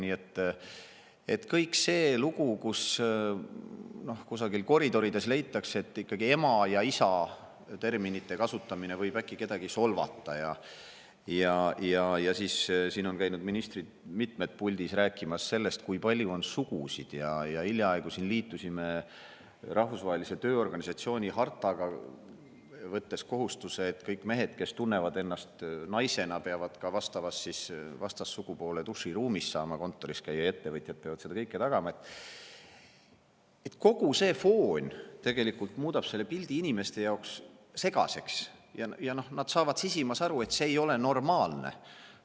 Nii et kogu see lugu, et kusagil koridorides leitakse, et sõnade "ema" ja "isa" kasutamine võib äkki kedagi solvata; ja siis on käinud siin mitmed ministrid puldis rääkimas sellest, kui palju on sugusid; hiljaaegu liitusime Rahvusvahelise Tööorganisatsiooni hartaga, võttes kohustuse, et kõik mehed, kes tunnevad ennast naisena, peavad kontoris saama käia ka vastassugupoole duširuumis ja ettevõtjad peavad seda kõike tagama – kogu see foon muudab pildi inimeste jaoks segaseks ja nad saavad sisimas aru, et see ei ole normaalne.